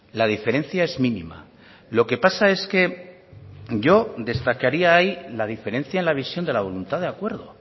la diferencia es mínima lo que pasa es que yo destacaría ahí la diferencia en la visión de la voluntad de acuerdo